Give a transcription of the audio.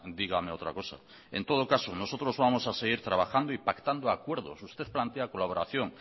dígame otra cosa en todo caso nosotros vamos a seguir trabajando y pactando acuerdos usted plantea colaboración